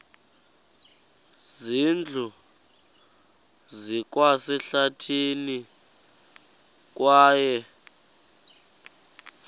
zindlu zikwasehlathini kwaye